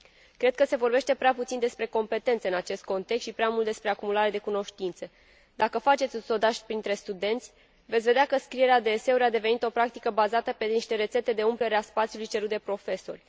Cred că se vorbește prea puțin despre competențe în acest context și prea mult despre acumularea de cunoștințe. Dacă faceți un sondaj printre studenți, veți vedea că scrierea de eseuri a devenit o practică bazată pe niște rețete de umplere a spațiului cerut de profesori.